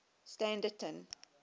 standerton